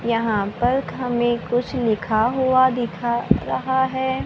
यहां पर हमें कुछ लिखा हुआ दिखा रहा है।